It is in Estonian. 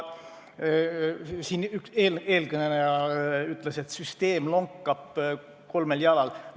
Siin üks eelkõneleja ütles, et süsteem lonkab kolmel jalal.